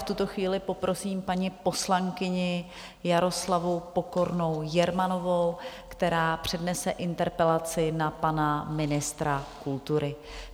V tuto chvíli poprosím paní poslankyni Jaroslavu Pokornou Jermanovou, která přednese interpelaci na pana ministra kultury.